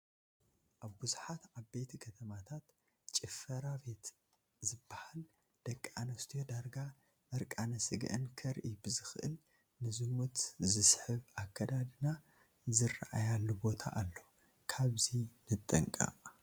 ኣብ ብዙሓት ዓበይቲ ከተማታት ጭፈራ ቤት ዝበሃል ደቂ ኣንስትዮ ዳርጋ ዕርቃነ ስግአን ከርኢ ብዝኽእል ንዝሙት ዝስሕብ ኣከዳድና ዝረአያሉ ቦታ ኣሎ፡፡ ካብዚ ንጠንቀቕ፡፡